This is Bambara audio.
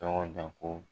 Tɔgɔ da ko